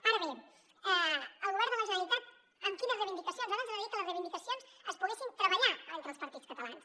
ara bé el govern de la generalitat amb quines reivindicacions ara ens agradaria que les reivindicacions es poguessin treballar entre els partits catalans